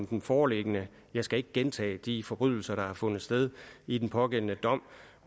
den foreliggende jeg skal ikke gentage de forbrydelser der har fundet sted i den pågældende sag